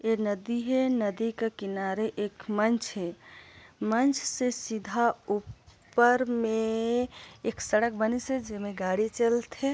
ये नदी हे नदी के किनारे एक मंच हे मंच से सीधा उपर में एक सड़क बनिस् हे जिमे गाड़ी चलथे।